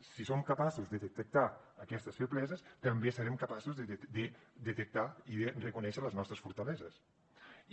i si som capaços de detectar aquestes febleses també serem capaços de detectar i reconèixer les nostres fortaleses